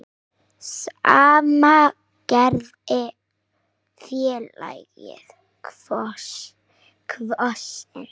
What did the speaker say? Sama gerði félagið Kvosin.